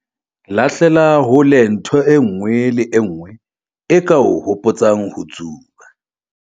Lahlela hole ntho e nngwe le e nngwe e ka o hopotsang ho tsuba.